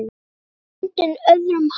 Nú ertu bundin, öðrum háð.